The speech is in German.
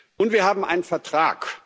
Und wir haben einen Vertrag.